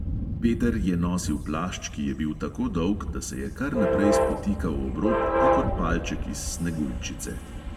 Peter je nosil plašč, ki je bil tako dolg, da se je kar naprej spotikal ob rob kakor palček iz sneguljčice.